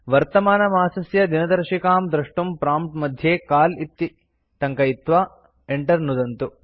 वर्तमानमासस्य दिनदर्शिकां द्रष्टुं प्रॉम्प्ट् मध्ये काल इति टङ्कयित्वा enter नुदन्तु